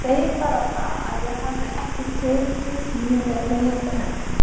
Segi bara það að ég hefði ekki tekið því með þegjandi þögninni.